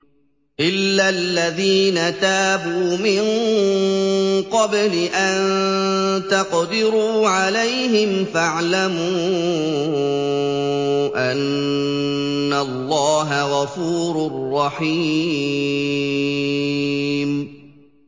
إِلَّا الَّذِينَ تَابُوا مِن قَبْلِ أَن تَقْدِرُوا عَلَيْهِمْ ۖ فَاعْلَمُوا أَنَّ اللَّهَ غَفُورٌ رَّحِيمٌ